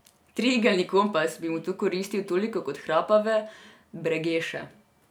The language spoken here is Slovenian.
Triigelni kompas bi mi tu koristil toliko kot hrapave bregeše.